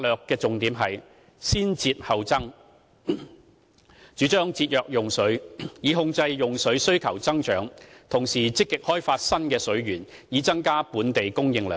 其重點是"先節後增"，主張節約用水，以控制用水需求增長；同時積極開發新的水源，以增加本地供應量。